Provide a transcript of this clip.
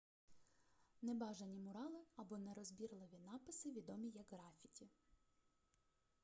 небажані мурали або нерозбірливі написи відомі як графіті